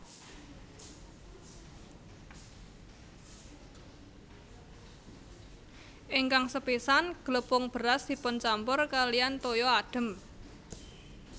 Ingkang sepisan glepung beras dipuncampur kaliyan toya adhem